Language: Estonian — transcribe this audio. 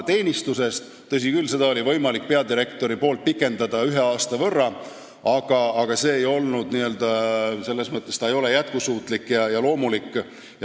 Tõsi küll, peadirektoril on võimalik teenistuses viibimise aega ühe aasta võrra pikendada, aga see ei ole n-ö jätkusuutlik ega loomulik.